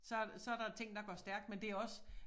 Så så der ting der går stærkt men det også